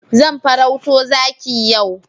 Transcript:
Zan farauto zaki yau.